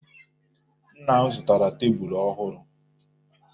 Nna m zụtara tebulu ọhụrụ.